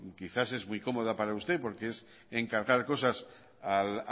quizás es muy cómoda para usted porque es encargar cosas al